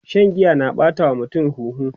Shan giya na ɓata wa mutum huhu